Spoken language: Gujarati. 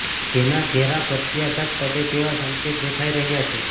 જેના ઘેરા પ્રત્યાઘાત પડે તેવા સંકેત દેખાઈ રહૃાા છે